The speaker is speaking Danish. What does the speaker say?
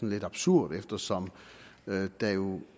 lidt absurd eftersom der jo